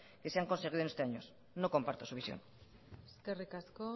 que se han conseguido en estos años no comparto su visión eskerrik asko